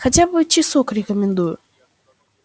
ещё хотя бы часок рекомендую